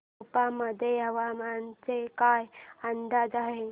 सेप्पा मध्ये हवामानाचा काय अंदाज आहे